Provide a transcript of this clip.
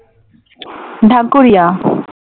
Dhakuria